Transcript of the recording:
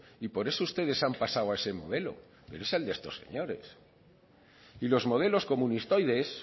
y por eso ustedes han pasado a ese modelo pero es el de estos señores y los modelos comunistoides